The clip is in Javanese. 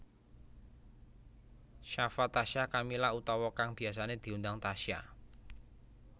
Shafa Tasya Kamila utawa kang biyasané diundang Tasya